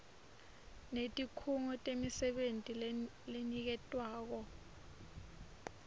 netikhungo temisebenti leniketwako